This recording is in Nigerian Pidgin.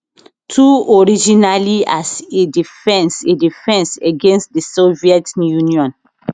two originally as a defence a defence against di soviet union